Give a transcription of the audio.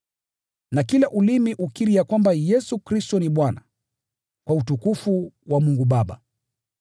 na kila ulimi ukiri ya kwamba Yesu Kristo ni Bwana , kwa utukufu wa Mungu Baba.